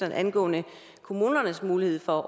angående kommunernes mulighed for